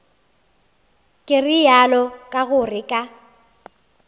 ke realo ka gore ka